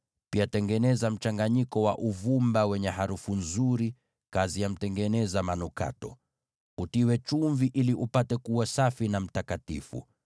pia tengeneza mchanganyiko wa uvumba wenye harufu nzuri, kazi ya mtengeneza manukato. Utiwe chumvi ili upate kuwa safi na mtakatifu.